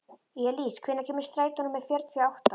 Elís, hvenær kemur strætó númer fjörutíu og átta?